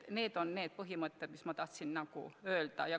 Seda ma tahtsin öelda.